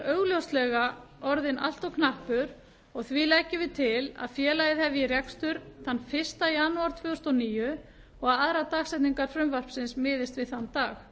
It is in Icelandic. augljóslega orðinn of knappur og leggur meiri hlutinn því til að félagið hefji rekstur fyrsta janúar tvö þúsund og níu og að aðrar dagsetningar frumvarpsins miðist einnig við þann dag